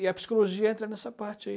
E a psicologia entra nessa parte aí.